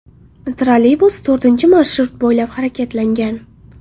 Trolleybus to‘rtinchi marshrut bo‘ylab harakatlangan.